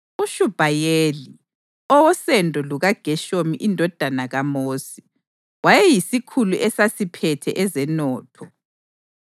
uShubhayeli, owosendo lukaGeshomu indodana kaMosi, wayeyisikhulu esasiphethe ezenotho.